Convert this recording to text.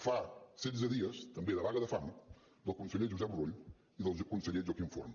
fa setze dies també de vaga de fam del conseller josep rull i del conseller joaquim forn